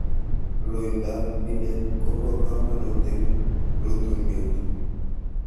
Loindab miinet kobo kaamanut en rutuunet